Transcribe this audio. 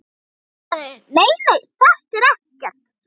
Faðirinn: Nei nei, þetta er ekkert.